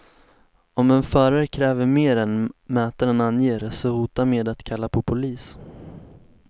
Om en förare kräver mer än mätaren anger, så hota med att kalla på polis.